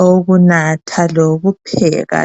awokunatha lokupheka